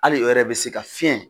Hali wɛrɛ be se ka fiɲɛ